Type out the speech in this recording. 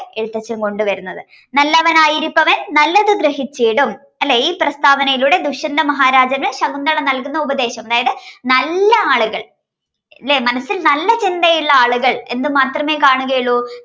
എഴുത്തച്ഛൻ കൊണ്ടുവരുന്നത് നല്ലവനായിരിപ്പവൻ നല്ലത് ഗ്രഹിച്ചീടും അല്ലേ ഈ പ്രസ്താവനയിലൂടെ ദുഷ്യന്ത മഹാരാജന് ശകുന്തള നൽകുന്ന ഉപദേശം അതായത് നല്ല ആളുകൾ ലെ മനസ്സിൽ നല്ല ചിന്തയുള്ള ആളുകൾ എന്ത് മാത്രമേ കാണുകയുള്ളൂ